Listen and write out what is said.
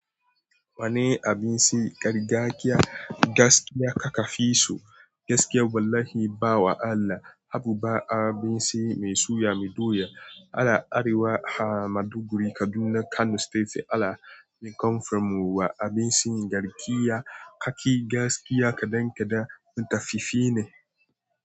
Wane abinci gargajiya gaskiya kaka fi so? Gaskiya wallahi ba wa Allah, habu ba abinci mai soya mai doya. Ala Arewa, ha Maduguri, Kaduna, Kano State ala ni come from wa abinci gargajiya kaki gaskiya kadan kadan matafifi ne.